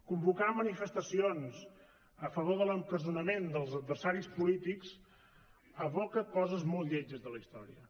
convocar manifestacions a favor de l’empresonament dels adversaris polítics evoca coses molt lletges de la història